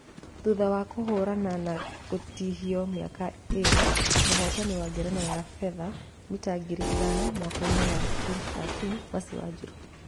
Thutha wa kũhurana na gũtihio miaka ĩrĩ , mũhotani wa ngerenwa ya fetha mita ngiri ĩthano mwaka ĩnĩ wa 2013 Mercy wanjiru